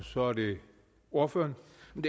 hvorfor